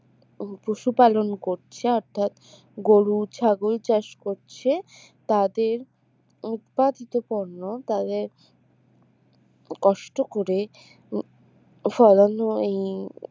পশু পালন করছে অর্থাৎ গরু, ছাগল চাষ করছে তাদের উৎপাদিত পণ্য তাদের কষ্ট করে ফলানো এই